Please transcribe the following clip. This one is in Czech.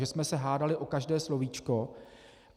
Že jsme se hádali o každé slovíčko.